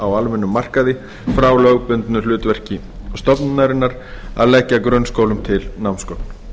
á almennum markaði frá lögbundnu hlutverki stofnunarinnar að leggja grunnskólum til námsgögn